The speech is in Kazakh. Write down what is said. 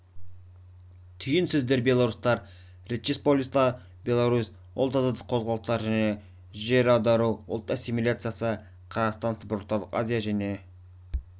түйін сөздер белорустар речпосполита беларусь ұлт азаттық қозғалыстар жер аудару ұлт ассимиляция қазақстан сібір орталық азия және